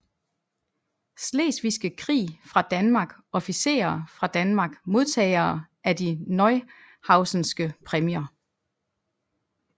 Slesvigske Krig fra Danmark Officerer fra Danmark Modtagere af De Neuhausenske Præmier